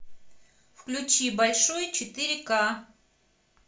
включи большой четыре ка